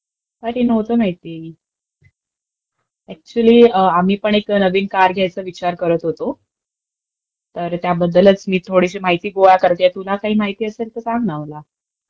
नाही रे नव्हतं माहिती, ऍक्च्युअली आम्ही पण नवीन कार घ्यायचा विचार करतं होतो, तर त्याबद्दलचं मी थोडीशी माहिती गोळा करतेय, तुलापण काही माहिती असेल तर सांग ना मला जरा